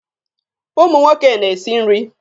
Ụmụ nwoke na-esi nri.